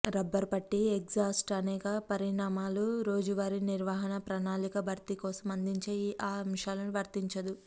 rubber పట్టీ exhaust అనేక పరిణామాలు రోజువారీ నిర్వహణ ప్రణాళిక భర్తీ కోసం అందించే ఆ అంశాలను వర్తించదు